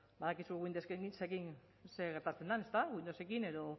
badakizue windowsekin zer gertatzen den ezta windowsekin edo